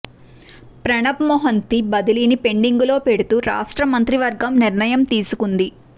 ప్రణబ్ మెహంతీ బదిలీని పెండింగులో పెడుతూ రాష్ట్ర మంత్రివర్గం నిర్ణయం తీసుకుంది